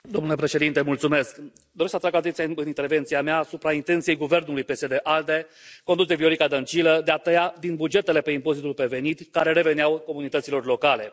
Domnule președinte, doresc să atrag atenția în intervenția mea asupra intenției guvernului PSD ALDE, condus de Viorica Dăncilă, de a tăia din bugetele pe impozitul pe venit care reveneau comunităților locale.